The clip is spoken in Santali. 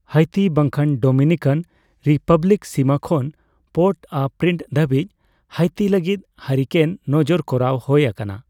ᱦᱟᱭᱛᱤ ᱵᱟᱝᱠᱷᱟᱱ ᱰᱳᱢᱤᱱᱤᱠᱟᱱ ᱨᱤᱯᱟᱵᱞᱤᱠ ᱥᱤᱢᱟᱹ ᱠᱷᱚᱱ ᱯᱳᱨᱴᱼᱚᱼᱯᱨᱤᱱᱥ ᱫᱷᱟᱹᱵᱤᱡ ᱦᱟᱭᱛᱤ ᱞᱟᱹᱜᱤᱫ ᱦᱟᱨᱤᱠᱮᱱ ᱱᱚᱡᱚᱨ ᱠᱚᱨᱟᱣ ᱦᱳᱭ ᱟᱠᱟᱱᱟ ᱾